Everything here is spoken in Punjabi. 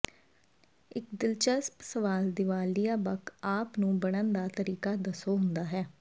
ਇੱਕ ਦਿਲਚਸਪ ਸਵਾਲ ਦੀਵਾਲੀਆ ਬਕ ਆਪ ਨੂੰ ਬਣਨ ਦਾ ਤਰੀਕਾ ਦੱਸੋ ਹੁੰਦਾ ਹੈ